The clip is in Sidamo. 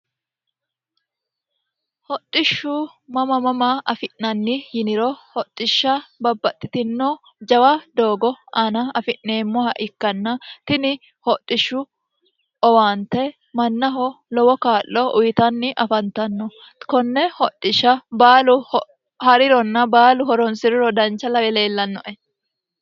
hoxishshu mama mama afi'nanni yiniro hoxishsha babbaxxitino jawa doogo aana afi'neemmoha ikkanna tini hoxishshu owaante mannaho lowo kaa'lo uyitanni afantanno konne hoxishsha baalu ha'rironna baalu horonsi'riro dancha lawe leellannoe